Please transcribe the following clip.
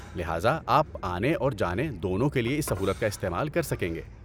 لہذا آپ آنے اور جانے دونوں کے لیے اس سہولت کا استعمال کر سکیں گے۔